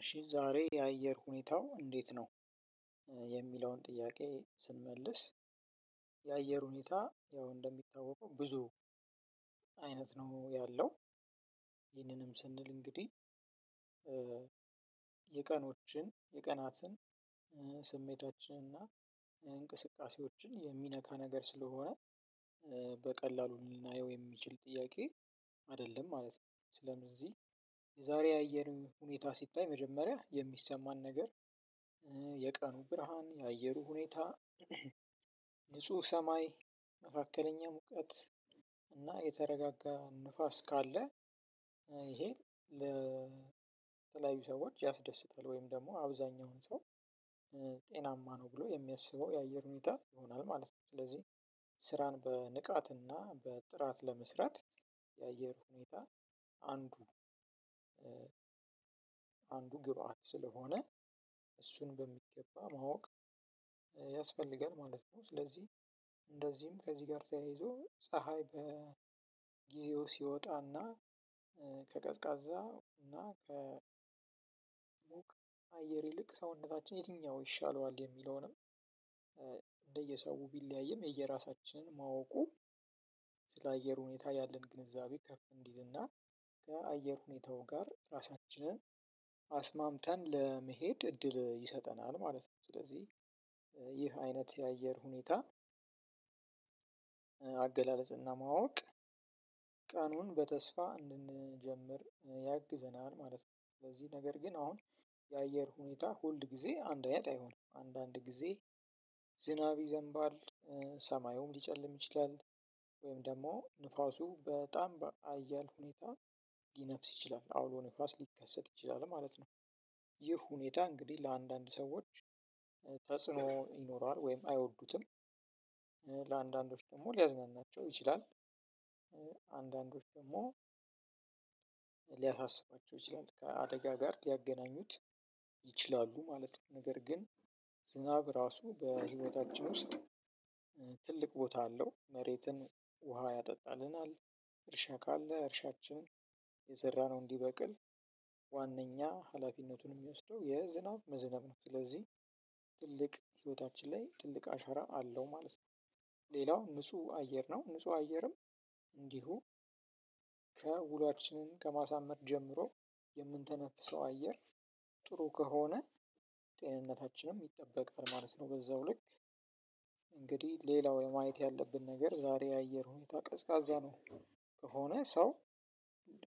እሺ ዛሬ የአየር ሁኔታው እንዴት ነው? የሚለውን ጥያቄ ስንመልስ የአየር ሁኔታ ያው እንደሚታወቀው ብዙ አይነት ነው ያለው። ይህንንም ስንል እንግዲህ። የቀኖችን የቀናትን ስሜታችን እና እንቅስቃሴዎችን የሚነካ ነገር ስለሆነ በቀላሉ ልናየው የሚችል ጥያቄ አይደለም ማለት ነው። ስለ እነዚህ የዛሬ የአየሩ ሁኔታ ሲታይ መጀመሪያ የሚሰማን ነገር የቀኑ ብርሃን የአየሩ ሁኔታ። ንጹህ ሰማይ መካከለኛ ሙቀት እና የተረጋጋ ንፋስ ካለ። ይሄ ለተለያዩ ሰዎች ያስደስታል ወይም ደግሞ አብዛኛውን ሰው ጤናማ ነው ብሎ የሚያስበው የአየር ሁኔታ ይሆናል ማለት ነው። ስለዚህ ስራን በንቃትና በጥራት ለመስራት የአየር ሁኔታ አንዱ ግብአት ስለሆነ እሱን በሚገባ ማወቅ ያስፈልጋል ማለት ነው። ስለዚህ እንደዚህም ከዚህ ጋር ተያይዞ ፀሀይ በጊዜው ሲወጣና። ከቀዝቃዛ እና ከ አየር ይልቅ ሰውነታችን የትኛው ይሻለዋል የሚለውንም እንደየሰው ቢለያይም የየራሳችንን ማወቁ ስለ አየር ሁኔታ ያለን ግንዛቤ ከፍ እንዲልና ከአየር ሁኔታው ጋር ራሳችንን አስማምተን ለመሄድ እድል ይሰጠናል ማለት ነው። ስለዚህ አይነት የአየር ሁኔታ አገላለጽና ማወቅ ቀኑን በተስፋ እንድንጀምር ያግዘናል ማለት ነው። ስለዚህ ነገር ግን አሁን የአየር ሁኔታ ሁል ጊዜ አንዳይነት አይሆንም አንዳንድ ጊዜ ዝናብ ይዘንባል። ሰማዩም ሊጨልም ይችላል ወይም ደግሞ ንፋሱ በጣም በሀያል ሁኔታ ሊነፍስ ይችላል አውሎ ንፋስ ሊከሰት ይችላል ማለት ነው። ይህ ሁኔታ እንግዲህ ለአንዳንድ ሰዎች ተጽኖ ይኖረዋል ወይም አይወዱትም። ለአንዳንዶች ደግሞ ሊያዝናናቸው ይችላል። አንዳንዶች ደግሞ ሊያሳስባቸው ይችላል ከአደጋ ጋር ሊያገናኙት ይችላሉ ማለት ነው። ነገር ግን ዝናብ ራሱ በህይወታችን ውስጥ ትልቅ ቦታ አለው መሬትን ውሃ ያጠጣልናል። እርሻ ካለ እርሻችን የዘራነው እንዲበቅል ዋናኛ ሀላፊነቱን የሚወስደው የዝናብ መዝናብ ነው። ስለዚህ ትልቅ ህይወታችን ላይ ትልቅ አሻራ አለው ማለት ነው። ሌላው ንጹህ አየር ነው ንጹህ አየርም እንዲሁ ከውሏችንን ከማሳመር ጀምሮ የምንተነፍሰው አየር ጥሩ ከሆነ ጤንነታችንም ይጠበቃል ማለት ነው። በዛው ልክ እንግዲህ ሌላው ማየት ያለብን ነገር ዛሬ የአየር ሁኔታ ቀዝቃዛ ነው። ከሆነ ሰው